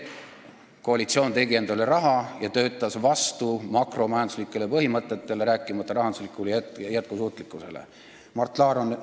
Koalitsioon tegi endale raha ja töötas makromajanduslike põhimõtete vastu, rääkimata rahandusliku jätkusuutlikkuse vastu töötamisest.